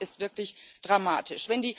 Die Lage ist wirklich dramatisch.